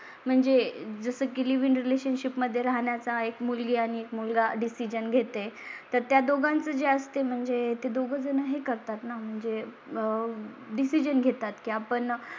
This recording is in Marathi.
म्हणजे जसं की लिव इन रिलेशनशिप मध्ये राहण्या चा एक मुलगी आणि एक मुलगा डिसिजन घेते तर त्या दोघांचे असते म्हणजे ते दोघे जण हे करतात ना म्हणजे. आह डिसिजन घेतात कीं आपण